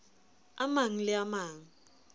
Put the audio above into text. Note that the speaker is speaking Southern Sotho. a mang le a mang